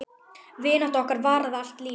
Vinátta okkar varaði allt lífið.